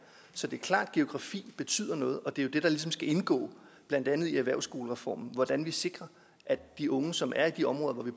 så det er klart at geografi betyder noget og det er jo det der ligesom skal indgå i blandt andet erhvervsskolereformen nemlig hvordan vi sikrer at de unge som er de områder hvor vi